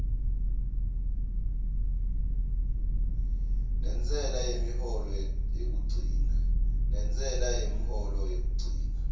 nentsela yemholo yekugcina